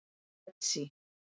Betsý